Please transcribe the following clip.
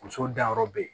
Tonso dayɔrɔ be yen